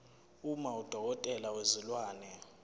uma udokotela wezilwane